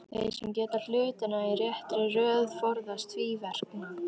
Þeir sem gera hlutina í réttri röð forðast tvíverknað.